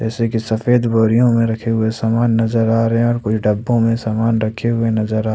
जैसे की सफेद बोरियों में रखे हुए सामान नजर आ रहे हैं और कुछ डब्बों में सामान रखे हुए नजर आ--